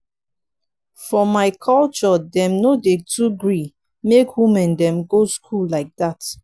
for my culture dem no dey too gree make women dem go school lai dat.